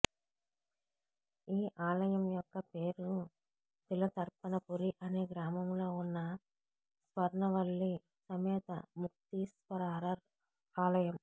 ఈ ఆలయం యొక్క పేరు తిలతర్పణపురి అనే గ్రామంలో వున్న స్వర్నవల్లి సమేత ముక్తీశ్వారర్ ఆలయం